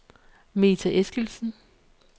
Meta Eskildsen